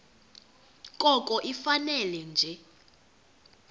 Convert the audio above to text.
koko ifane nje